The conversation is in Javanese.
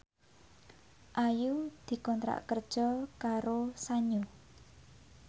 Ayu dikontrak kerja karo Sanyo